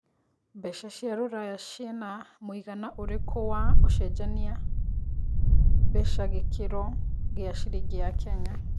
mbeca cia rũraya cina mũigana ũrĩkũ wa ũcenjanĩa mbeca gĩkiro gĩa ciringi ya Kenya